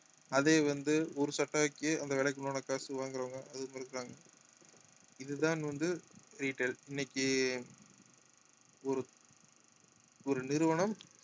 அதே வந்து ஒரு சட்டைக்கு அந்த விலைக்கு உண்டான காசு வாங்குறவங்க அதுவும் மாறி இருக்கிறாங்க இதுதான் வந்து retails இன்னைக்கு ஒரு ஒரு நிறுவனம்